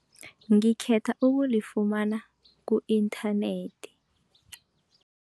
Ngikhetha ukulifumana ku-inthanethi.